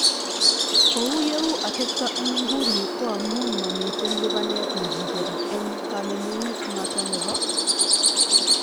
Kou yeuu atebto en inguni ko amuun mamiten lipanet nekicheruu en kanemunet noton nebo